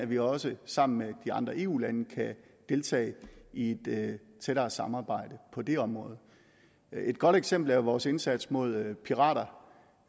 vi også sammen med de andre eu lande kan deltage i et tættere samarbejde på det område et godt eksempel er jo vores indsats mod pirater